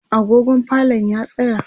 agogon falon ya tsaya